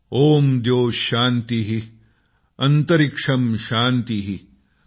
ॐ द्यौः शान्तिः अन्तरिक्षं शान्तिः